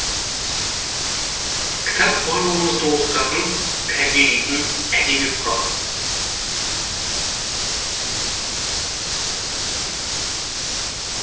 кітап барлығымызды оқытатын тәрбиелейтін әдеби құрал